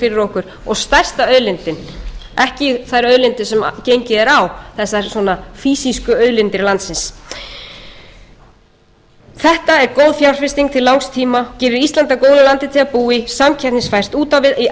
fyrir okkur og stærsta auðlindin ekki þær auðlindir sem gengið er á þessar svona fýsísku auðlindir landsins þetta er góð fjárfesting til langs tíma gerir ísland að góðu landi til að búa í samkeppnisfært út á við í